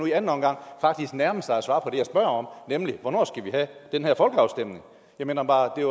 nu i anden omgang faktisk nærme sig at svare på jeg spørger om nemlig hvornår vi skal have den her folkeafstemning jeg mener bare at